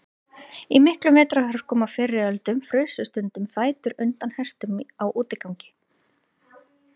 Í miklum vetrarhörkum á fyrri öldum frusu stundum fætur undan hestum á útigangi.